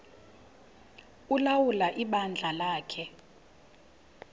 ulawula ibandla lakhe